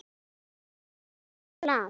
ÞÚ PASSAR DODDA Á MEÐAN!